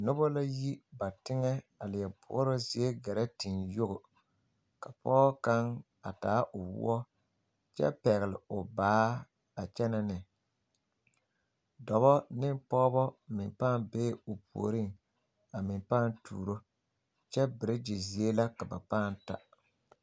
Noba la yi ba teŋɛ a leɛ boɔrɔ zie gɛrɛ teŋe yogo pɔge kaŋ actaa o poɔ kyɛ pɛgle o baa a kyɛnɛ ne dɔbɔ ne pɔgebɔ meŋ pãã be a meŋ pãã tuuro kyɛ peretere zie la ka ba pãã ta.